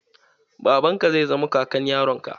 Babanka zai zama kakan yaron ka.